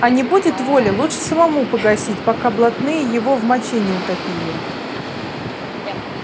а не будет воли лучше самому погасить пока блатные его в моче не утопили